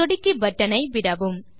சொடுக்கி பட்டனை விடவும்